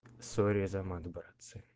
сори за мат братцы